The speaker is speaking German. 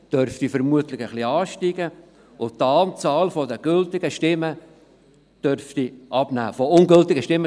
Die Wahlbeteiligung dürfte vermutlich etwas ansteigen, und die Anzahl ungültiger Stimmen dürfte abnehmen.